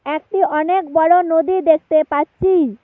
একটি অনেক বড়ো নদী দেখতে পাচ্ছি।